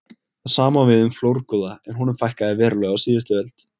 Það sama á við um flórgoða en honum fækkaði verulega á síðustu öld.